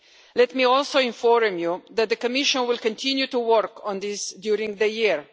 Let me also inform you that the Commission will continue to work on this during the year.